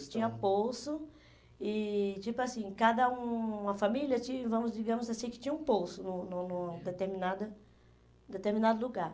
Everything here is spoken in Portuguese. tinha poço e, tipo assim, cada uma família, vamos digamos assim, que tinha um poço no no no determinada, determinado lugar.